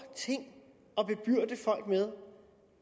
ting at bebyrde folk med